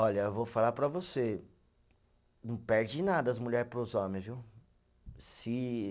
Olha, eu vou falar para você, não perde nada as mulher para os homem, viu? Se